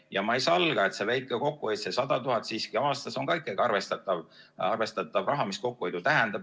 Ja ma ei salga, et see väike kokkuhoid, see 100 000 aastas on ikkagi arvestatav raha, mis kokkuhoidu tähendab.